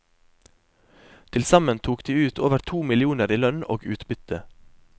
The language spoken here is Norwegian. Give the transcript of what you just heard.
Til sammen tok de ut over to millioner i lønn og utbytte.